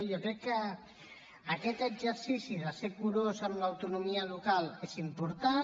jo crec que aquest exercici de ser curós amb l’autonomia local és important